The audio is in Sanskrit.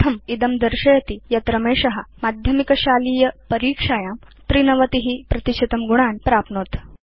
इत्थम् इदं दर्शयति यत् रमेश माध्यमिकशालीय परीक्षायां 93 प्रतिशतं गुणान् प्राप्नोत्